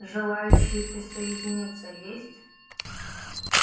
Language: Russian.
желающие присоединиться есть